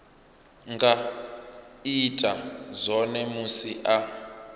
nga ita zwone musi a